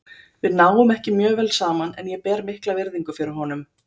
Við náum ekki mjög vel saman en ég ber mikla virðingu fyrir honum.